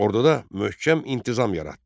Orduda möhkəm intizam yaratdı.